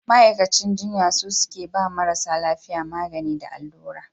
Ma'aikacin jinya su suke ba marasa lafiya magani da allura